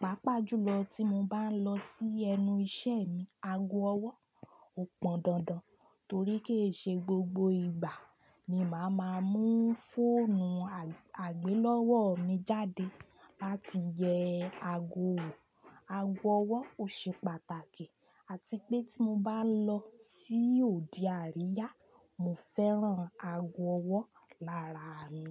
Pàápàá jùlọ tí mo bá ń lọ sí ẹnu iṣẹ́ mi, ago ọwọ́ ò pọn dandan torí kì í ṣe gbogbo ìgbà ni màá máa mú fóònù àgbélọ́wọ́ mi jáde láti yẹ ago wò. Ago ọwọ́ ò ṣe pàtàkì àti pé tí mo bá lọ sí òde àríyá, mo fẹ́ràn ago ọwọ́ lára mi.